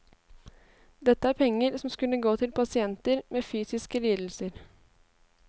Dette er penger som skulle gå til pasienter med fysiske lidelser.